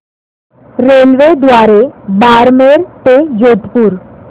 रेल्वेद्वारे बारमेर ते जोधपुर